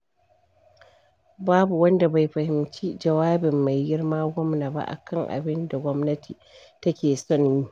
Babu wanda bai fahimci jawabin mai girma gwamna ba a kan abin da gwamnati take son yi.